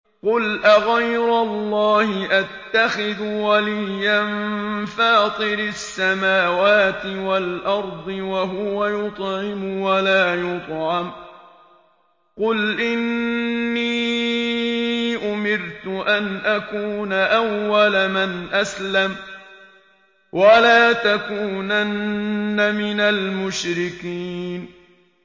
قُلْ أَغَيْرَ اللَّهِ أَتَّخِذُ وَلِيًّا فَاطِرِ السَّمَاوَاتِ وَالْأَرْضِ وَهُوَ يُطْعِمُ وَلَا يُطْعَمُ ۗ قُلْ إِنِّي أُمِرْتُ أَنْ أَكُونَ أَوَّلَ مَنْ أَسْلَمَ ۖ وَلَا تَكُونَنَّ مِنَ الْمُشْرِكِينَ